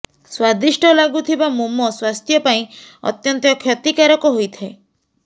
ସ୍ବାଦିଷ୍ଟ ଲାଗୁଥିବା ମୋମୋ ସ୍ବାସ୍ଥ୍ୟ ପାଇଁ ଅତ୍ୟନ୍ତ କ୍ଷତିକାରକ ହୋଇଥାଏ